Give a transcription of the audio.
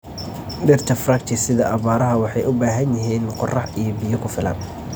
Dhirta fructi sida aabbaaraha waxay u baahan yihiin qorax iyo biyo ku filan.